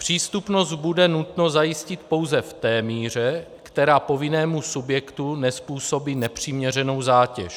Přístupnost bude nutno zajistit pouze v té míře, která povinnému subjektu nezpůsobí nepřiměřenou zátěž.